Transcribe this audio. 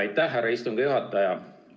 Aitäh, härra istungi juhataja!